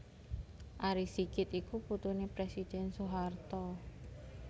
Ari Sigit iku putuné Presiden Soeharto